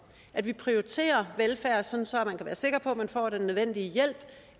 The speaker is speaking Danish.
at vi prioriterer velfærd sådan så man kan være sikker på at man får den nødvendige hjælp